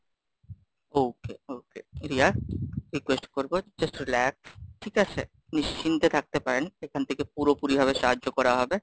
okay, okay, Riya, request করবো just relax, ঠিক আছে? নিশ্চিন্তে থাকতে পারেন, এখান থেকে পুরোপুরি ভাবে সাহায্য করা হবে।